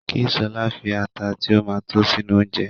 Kí Ṣọlá fi ata tí ó ma tó sínú oúnjẹ